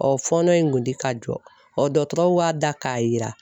fɔɔnɔ in kun tɛ ka jɔ dɔtɔrɔw y'a da k'a yira